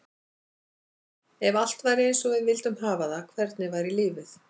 Ef allt væri eins og við vildum hafa það, hvernig væri lífið?